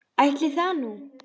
Ætli það nú.